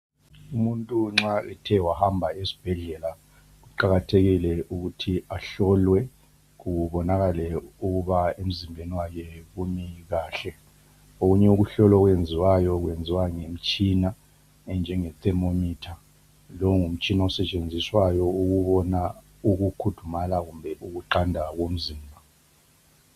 Umuntu nxa ethe wahamba esibhedlela kuqakathekike ukuthi ahlokwe kubonakale kuhle ukuba emzimbeni kahle. Okunye okuhlolwayo kwenziwa ngemitshina enjenge thermometer, longumtshina osetshenziswayo ukubona ukukhudumala kumbe ukuqanda komzimba.